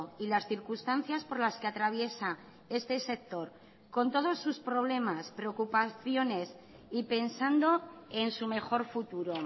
y las circunstancias por las que atraviesa este sector con todos sus problemas preocupaciones y pensando en su mejor futuro